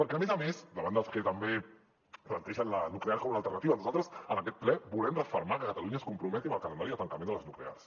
perquè a més a més davant dels que també plantegen la nuclear com una alternativa nosaltres en aquest ple volem refermar que catalunya es comprometi amb el calendari de tancament de les nuclears